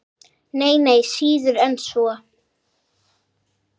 Nei, nei, síður en svo.